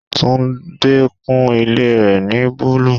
Tunde kun ilé rẹ ni búlúù.